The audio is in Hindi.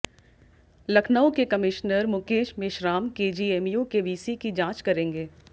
लखनऊ के कमिश्नर मुकेश मेश्राम केजीएमयू के वीसी की जांच करेंगे